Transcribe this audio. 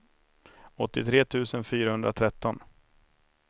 åttiotre tusen fyrahundratretton